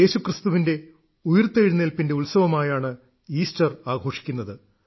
യേശുക്രിസ്തുവിന്റെ ഉയിർത്തെഴുന്നേൽപ്പിന്റെ ഉത്സവമായാണ് ഈസ്റ്റർ ആഘോഷിക്കുന്നത്